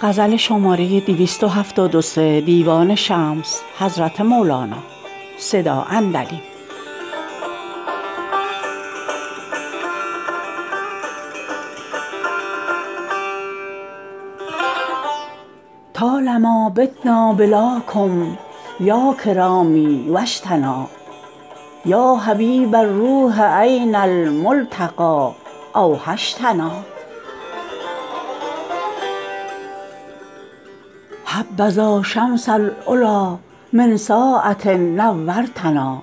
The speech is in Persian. طال ما بتنا بلاکم یا کرامی و شتنا یا حبیب الروح این الملتقی اوحشتنا حبذا شمس العلی من ساعه نورتنا